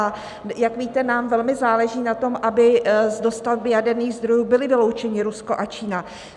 A jak víte, nám velmi záleží na tom, aby z dostavby jaderných zdrojů byly vyloučeny Rusko a Čína.